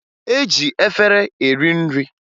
E ji efere eri nri